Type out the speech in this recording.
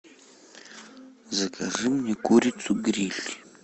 закажи мне курицу гриль